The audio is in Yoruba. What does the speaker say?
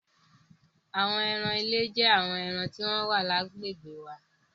Àwọn ẹran ilé jẹ́ àwọn ẹran tí ó wà lágbègbè wa.